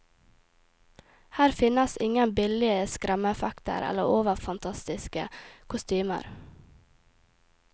Her finnes ingen billige skremmeeffekter, eller overfantastiske kostymer.